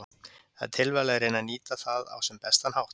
Það er tilvalið að reyna að nýta það á sem bestan hátt.